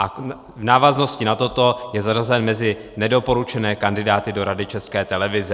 A v návaznosti na toto je zařazen mezi nedoporučené kandidáty do Rady České televize.